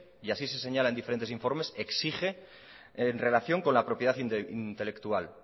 y así se señala en diferentes informes exige en relación con la propiedad intelectual